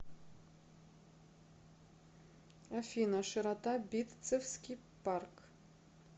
афина широта битцевский парк